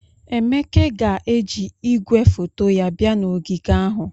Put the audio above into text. Emeke ga-eji igwefoto ya bia na ogige ahụ.